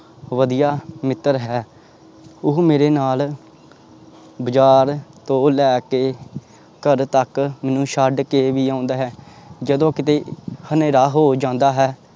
ਵਧੀਆ ਮਿੱਤਰ ਹੈ ਉਹ ਮੇਰੇ ਨਾਲ ਬਾਜ਼ਾਰ ਤੋਂ ਲੈ ਕੇ ਘਰ ਤੱਕ ਮੈਨੂੰ ਛੱਡ ਕੇ ਵੀ ਆਉਂਦਾ ਹੈ ਜਦੋਂ ਕਿਤੇ ਹਨੇਰਾ ਹੋ ਜਾਂਦਾ ਹੈ,